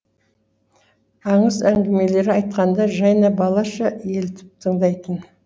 аңыз әңгімелер айтқанда жайна балаша елітіп тыңдайтын